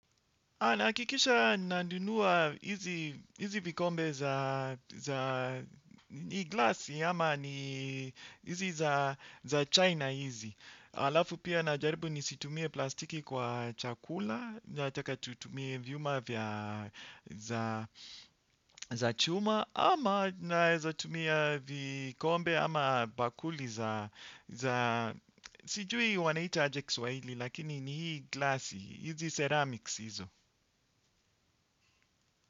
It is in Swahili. Anahakikisha nanunua hizi vikombe za ni glasi ama ni hizi za China hizi. Alafu pia najaribu nisitumie plastiki kwa chakula, nataka tutumie vyuma vya za chuma ama naezatumia vikombe ama bakuli za sijui wanaita aje kiswahili lakini ni hii glasi, hizi ceramics hizo.